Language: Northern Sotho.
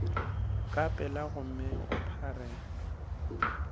ka pela gomme o phare